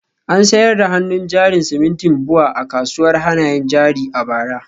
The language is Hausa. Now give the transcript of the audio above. An sayar da hannun jarin simintin BUA a kasuwar hannayen jari a bara